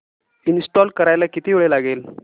install करायला किती वेळ लागेल